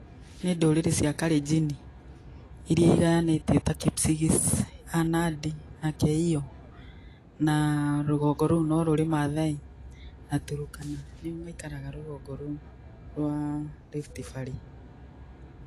Nĩ ndũrĩrĩ cia Kalenjin, iria igayanĩtie ta Kipsigis, Nandi na Keiyo, na rũgongo rũu no rũrĩ Maasai na Turkana, nĩo maikaraga rũgongo rũu rwa Rift Valley.